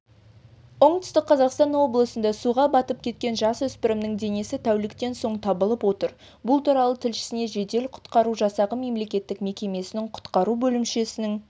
оңтүстік қазақстан облысында суға батып кеткен жасөспірімнің денесі тәуліктен соң табылып отыр бұл туралы тілшісіне жедел-құтқару жасағы мемлекеттік мекемесінің құтқару бөлімшесінің